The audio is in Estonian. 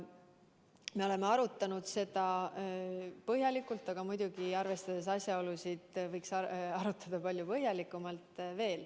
Me oleme arutanud seda põhjalikult, aga muidugi, arvestades asjaolusid, võiks arutada veel palju põhjalikumalt.